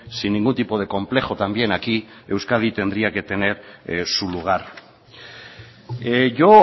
sin ningún tipo de complejo también aquí euskadi tendría que tener su lugar yo